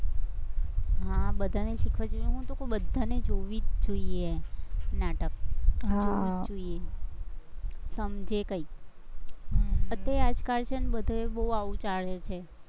હા બધાને શીખવા જેવું નતું, બધાને જોઈને જોવી જ જોઈએ, નાટક જોવી જ જોઈએ, સમજે કંઈક, તોય આજકાલ છે ને બધે બોવ આવું ચાલે છે.